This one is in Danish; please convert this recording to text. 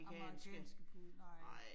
Amerikanske. Nej